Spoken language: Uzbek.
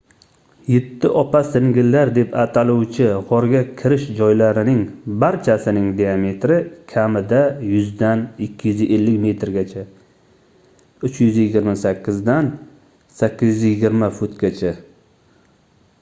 "yetti opa-singillar deb ataluvchi g'orga kirish joylarining barchasining diametri kamida 100 dan 250 metrgacha 328 dan 820 futgacha